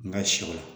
N ka siw la